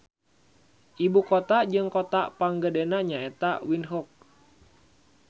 Ibu kota jeung kota panggedena nya eta Windhoek.